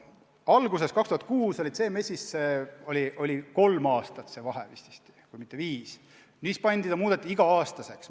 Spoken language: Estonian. Alguses, 2006. aasta TsMS-is oli see vahe vististi kolm aastat, kui mitte viis, siis muudeti see iga-aastaseks kohustuseks.